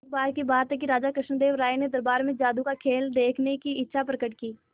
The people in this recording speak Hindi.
एक बार की बात है कि राजा कृष्णदेव राय ने दरबार में जादू का खेल देखने की इच्छा प्रकट की